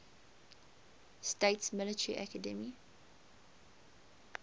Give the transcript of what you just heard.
states military academy